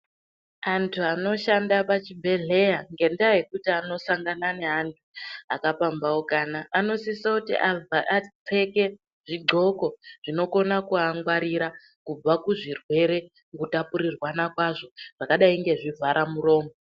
Antu anoshanda muzvibhedhlera ngenda yekutinakasangana neantu akapambaukana anosisa apfekw zvigonxo zvinokona kuvangwarira kubva kuzvirwere zvinotapurirwana kwazvo zvakadai nezvivhara muromo.